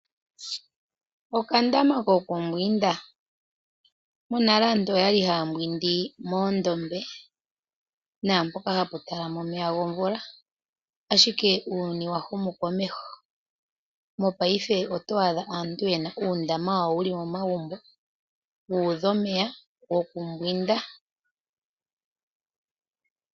Okandama kokumbwindwa. Monale aantu oyali haya mbwindi moondombe naampoka hapu talama omeya gomvula. Ashike uuyuni wahumu komeho, mopaife oto adha aantu yena uundama wawo wuli momagumbo, wuudha omeya gokumbwinda.